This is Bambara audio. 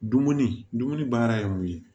Dumuni dumuni baara ye mun ye